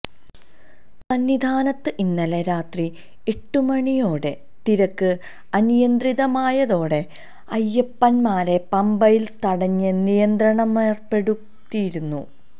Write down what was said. സന്നിധാനത്ത് ഇന്നലെ രാത്രി എട്ടുമണിയോടെ തിരക്ക് അനിയന്ത്രിതമായതോടെ അയ്യപ്പന്മാരെ പമ്പയിൽ തടഞ്ഞ് നിയന്ത്രണമേർപ്പെടുത്തിയിരുന്നു